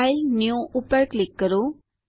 file જીટીજીટી new પર click કરો